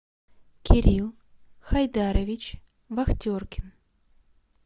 кирилл хайдарович вахтеркин